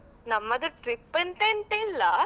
ನಮ್ಮದು trip ಅಂತ ಎಂತ ಇಲ್ಲಾ.